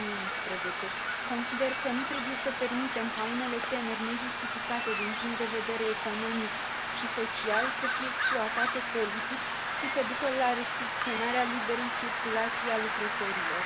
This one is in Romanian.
2011. Consider că nu trebuie să permitem ca unele temeri nejustificate din punct de vedere economic și social să fie exploatate politic și să ducă la restricționarea liberei circulații a lucrătorilor.